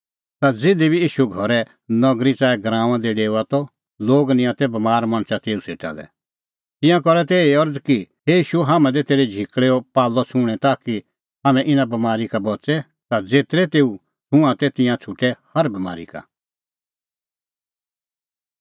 ता ज़िधी बी ईशू घरै नगरी च़ाऐ गराऊंआं दी डेओआ त लोग निंयां तै बमार मणछ तेऊ सेटा लै तिंयां करा तै एही अरज़ कि हे ईशू हाम्हां दै तेरै झिकल़ैओ पाल्लअ छुंहणैं ताकि हाम्हैं इना बमारी का बच़े ता ज़ेतरै तेऊ छुंआं तै तिंयां छ़ुटै हर बमारी का